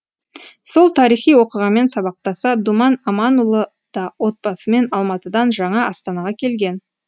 сол тарихи оқиғамен сабақтаса думан аманұлы да отбасымен алматыдан жаңа астанаға келген